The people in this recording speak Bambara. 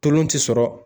Tolon ti sɔrɔ